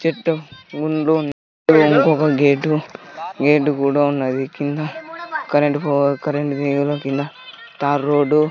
చెట్టు ముందు ఇంకొక గేటు గేటు కూడా ఉన్నది కింద కరెంటు పో కరెంటు తీగలు కింద తార్ రోడ్డు --